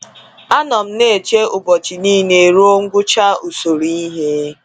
"A nọ m na eche ụbọchị niile ruo ngwụcha usoro ihe.